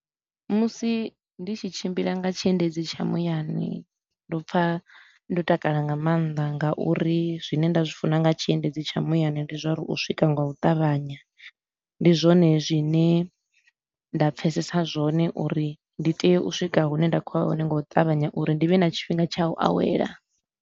Musi ndi tshi tshimbila nga tshiendedzi tsha muyani, ndo pfa ndo takala nga maanḓa ngauri zwine nda zwi funa nga tshiendedzi tsha muyani ndi zwa uri u swika nga u ṱavhanya. Ndi zwone zwine nda pfesesa zwone uri ndi tea u swika hune nda khou ya hone nga u ṱavhanya uri ndi vhe na tshifhinga tsha u awela.